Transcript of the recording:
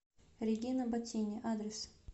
регина ботини адрес